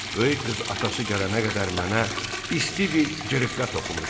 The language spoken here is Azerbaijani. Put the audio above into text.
Böyük qız atası gələnə qədər mənə isti bir cırıqqa toxumuşdu.